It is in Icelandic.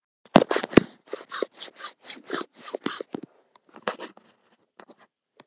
Það fyrirkomulag hefur heppnast áður- ef ég man rétt.